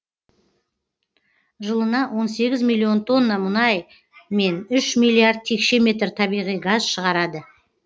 жылына он сегіз миллион тонна мұнай мен үш миллиард текше метр табиғи газ шығарады